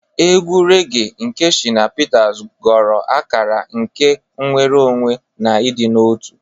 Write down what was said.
Egwu regee nke Shina Peter ghọrọ akara nke nnwere onwe na ịdị n'otu.